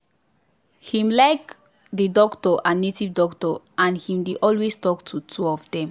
him like the doctor and native doctor and him dey alway talk to two of them.